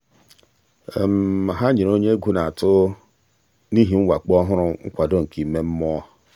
ha nyere onye egwu na-atụ n'ihi mwakpo ọhụrụ nkwado nke ime mmụọ.